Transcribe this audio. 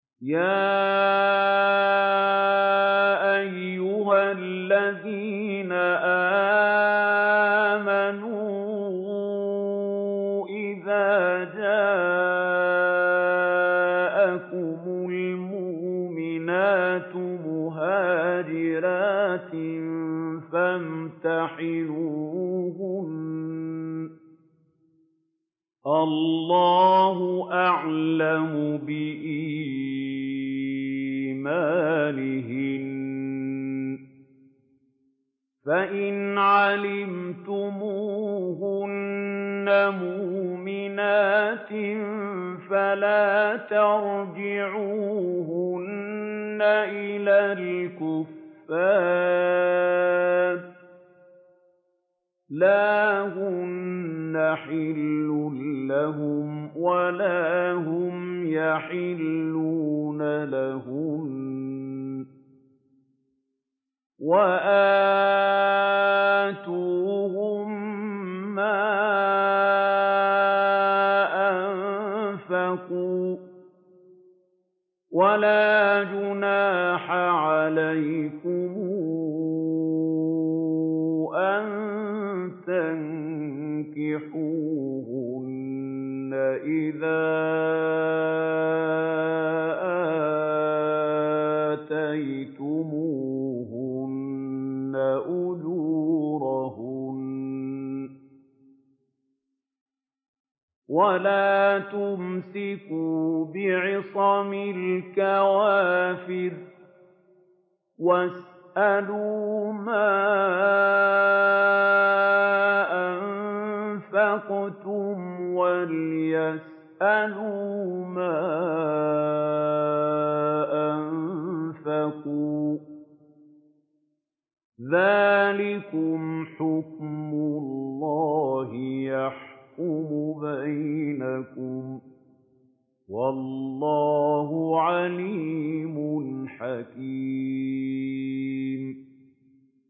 يَا أَيُّهَا الَّذِينَ آمَنُوا إِذَا جَاءَكُمُ الْمُؤْمِنَاتُ مُهَاجِرَاتٍ فَامْتَحِنُوهُنَّ ۖ اللَّهُ أَعْلَمُ بِإِيمَانِهِنَّ ۖ فَإِنْ عَلِمْتُمُوهُنَّ مُؤْمِنَاتٍ فَلَا تَرْجِعُوهُنَّ إِلَى الْكُفَّارِ ۖ لَا هُنَّ حِلٌّ لَّهُمْ وَلَا هُمْ يَحِلُّونَ لَهُنَّ ۖ وَآتُوهُم مَّا أَنفَقُوا ۚ وَلَا جُنَاحَ عَلَيْكُمْ أَن تَنكِحُوهُنَّ إِذَا آتَيْتُمُوهُنَّ أُجُورَهُنَّ ۚ وَلَا تُمْسِكُوا بِعِصَمِ الْكَوَافِرِ وَاسْأَلُوا مَا أَنفَقْتُمْ وَلْيَسْأَلُوا مَا أَنفَقُوا ۚ ذَٰلِكُمْ حُكْمُ اللَّهِ ۖ يَحْكُمُ بَيْنَكُمْ ۚ وَاللَّهُ عَلِيمٌ حَكِيمٌ